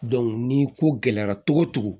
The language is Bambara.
ni ko gɛlɛyara cogo o cogo